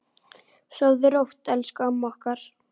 Sofðu rótt, elsku amma okkar.